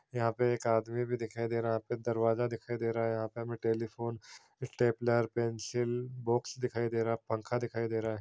यहाँ पे एक आदमी भी दिखाई दे रहा है यहाँ पे दरवाज़ा दिखाई दे रहा है यहाँ पे हमें टेलीफोन स्टेपलर पेंसिल बॉक्स दिखाई दे रहा है पंखा दिखाई दे रहा है।